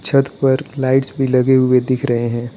छत पर लाइट्स भी लगे हुए दिख रहे हैं।